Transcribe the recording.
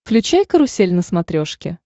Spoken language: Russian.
включай карусель на смотрешке